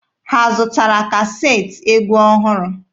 Ha zụtara kaseetị egwu ọhụrụ?